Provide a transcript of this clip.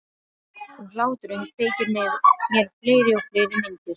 Og hláturinn kveikir með mér fleiri og fleiri myndir.